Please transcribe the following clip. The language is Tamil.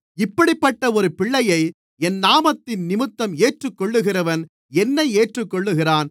இப்படிப்பட்ட ஒரு பிள்ளையை என் நாமத்தினிமித்தம் ஏற்றுக்கொள்ளுகிறவன் என்னை ஏற்றுக்கொள்ளுகிறான்